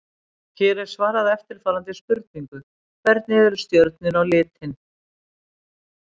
Hér er svarað eftirfarandi spurningum: Hvernig eru stjörnur á litinn?